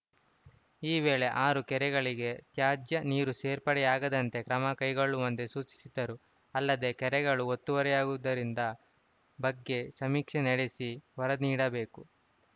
ಈ ವೇಳೆ ಆರು ಕೆರೆಗಳಿಗೆ ತ್ಯಾಜ್ಯ ನೀರು ಸೇರ್ಪಡೆಯಾಗದಂತೆ ಕ್ರಮ ಕೈಗೊಳ್ಳುವಂತೆ ಸೂಚಿಸಿದರು ಅಲ್ಲದೇ ಕೆರೆಗಳು ಒತ್ತುವರಿಯಾಗುದರಿಂದ ಬಗ್ಗೆ ಸಮೀಕ್ಷೆ ನಡೆಸಿ ವರದಿ ನೀಡಬೇಕು